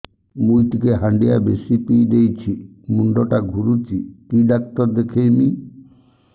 ମୁଇ ଟିକେ ହାଣ୍ଡିଆ ବେଶି ପିଇ ଦେଇଛି ମୁଣ୍ଡ ଟା ଘୁରୁଚି କି ଡାକ୍ତର ଦେଖେଇମି